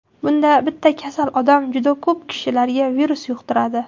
Bunda bitta kasal odam juda ko‘p kishilarga virus yuqtiradi.